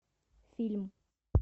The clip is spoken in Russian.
фильм